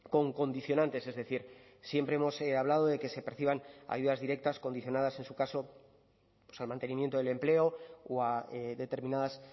con condicionantes es decir siempre hemos hablado de que se perciban ayudas directas condicionadas en su caso al mantenimiento del empleo o a determinadas